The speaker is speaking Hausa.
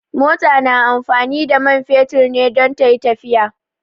Mota na amfani da man fetur ne don tayi tafiya